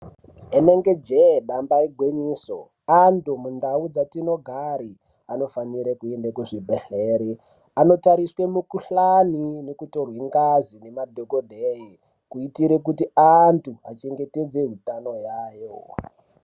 Rinenge jee damba igwinyiso antu mundau dzatinogara vanofanira kuenda kuchibhedhlera anotariswe ngazi nemadhokodheya kuitire kuti antu achengetedze utano hwavo.